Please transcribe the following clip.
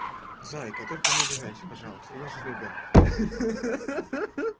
зайка только не обижайся пожалуйста я же любя ха-ха